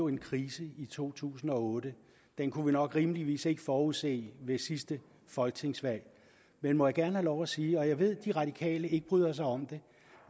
en krise i to tusind og otte den kunne vi nok rimeligvis ikke forudse ved sidste folketingsvalg men må jeg gerne have lov til at sige og jeg ved at de radikale ikke bryder sig om det